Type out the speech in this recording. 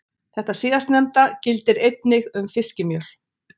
Þetta síðastnefnda gildir einnig um fiskimjöl.